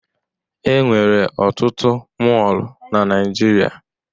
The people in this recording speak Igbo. E nwere ọtụtụ mọọlụ na Naịjirịa.